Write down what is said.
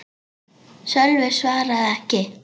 Sölvi svaraði ekki.